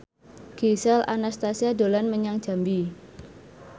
Gisel Anastasia dolan menyang Jambi